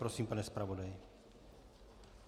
Prosím, pane zpravodaji.